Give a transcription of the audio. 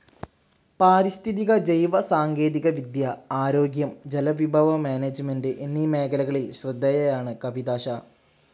പാരിസ്ഥിതിക ജൈവ സാങ്കേതിക വിദ്യ, ആരോഗ്യം, ജലവിഭവ മാനേജ്മെന്റ്‌ എന്നീ മേഖലകളിൽ ശ്രദ്ധേയയാണ് കവിതാ ഷാ.